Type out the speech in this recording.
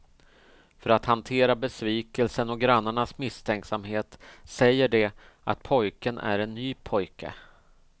För att hantera besvikelsen och grannarnas misstänksamhet säger de att pojken är en ny pojke.